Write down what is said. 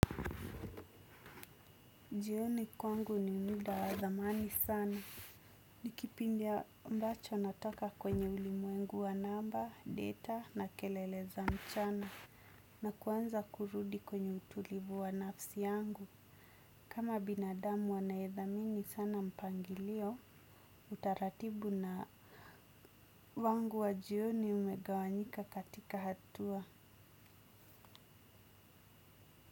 Jioni kwangu ni muda wa dhamani sana. Nikipindi ambacho natoka kwenye ulimuengu wa naba, data na kelele za mchana. Na kuanza kurudi kwenye utulivu wa nafsi yangu. Kama binadamu anayedhamini sana mpangilio, utaratibu na wangu wa jioni umegawanyika katika hatua.